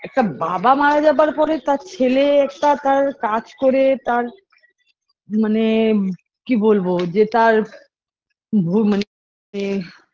একটা বাবা মারা যাবার পরে তার ছেলে একটা তার কাজ করে তার মানে কি বলবো যে তার ভু মানে এ